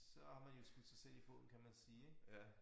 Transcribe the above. Så har man jo skudt sig selv i foden kan man sige ik